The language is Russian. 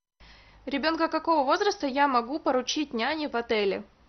ребенка какого возраста я могу поручить няне в отеле